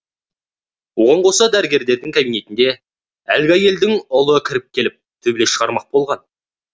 оған қоса дәрігердің кабинетіне әлгі әйелдің ұлы кіріп келіп төбелес шығармақ болған